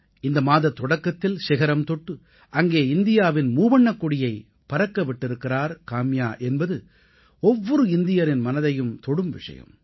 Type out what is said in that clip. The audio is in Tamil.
இந்த மாதத் தொடக்கத்தில் சிகரம் தொட்டு அங்கே இந்தியாவின் மூவண்ணக் கொடியைப் பறக்க விட்டிருக்கிறார் காம்யா என்பது ஒவ்வொரு இந்தியரின் மனதையும் தொடும் விஷயம்